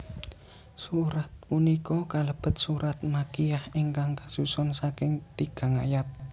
Surat punika kalebet surat makiyyah ingkang kasusun saking tigang ayat